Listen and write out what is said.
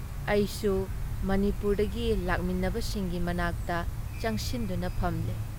ꯑꯩꯁꯨ ꯃꯅꯤꯄꯨꯔꯗꯒꯤ ꯂꯥꯛꯃꯤꯟꯅꯕꯁꯤꯡꯒꯤ ꯃꯅꯥꯛꯇ ꯆꯪꯁꯤꯟꯗꯨꯅ ꯐꯝꯂꯦ꯫